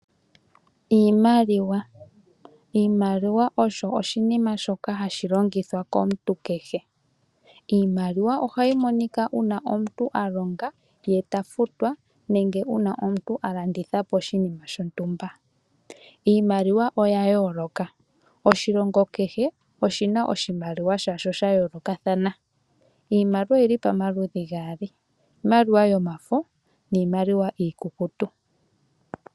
Iimaliwa Iimiliwa osho oshinima shoka hashi longithwa komuntu kehe. Iimaliwa ohayi monika uuna omuntu a longa ye ta futwa, nenge uuna omuntu a landitha po oshinima shontumba. Iimaliwa oya yooloka. Oshilongo kehe oshi na oshimaliwa sha sho sha yoolokathana. Iimaliwa oyi li pamaludhi gaali; iimaliwa iikukutu niimaliwa yomafo.